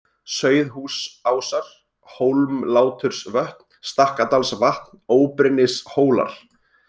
Sauðhúsásar, Hólmlátursvötn, Stakkadalsvatn, Óbrinnishólar